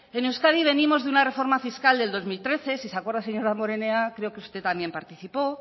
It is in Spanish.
en euskadi venimos de una reforma fiscal del dos mil trece si se acuerda señor damborenea creo que usted también participó